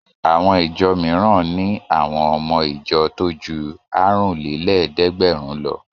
Àwọn ìjọ mìíràn ni àwọn ọmọ ìjọ tó ju àrùnlélẹ́ẹ̀dẹ́gbẹ̀rún lọ.